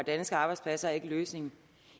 danske arbejdspladser ikke er løsningen